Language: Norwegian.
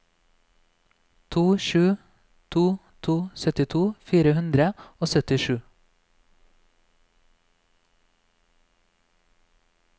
to sju to to syttito fire hundre og syttisju